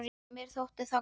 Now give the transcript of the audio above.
Mér þótti það gott.